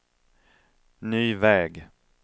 ny väg